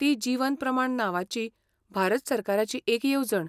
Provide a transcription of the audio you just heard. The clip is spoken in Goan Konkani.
ती जीवन प्रमाण नांवाची भारत सरकाराची एक येवजण.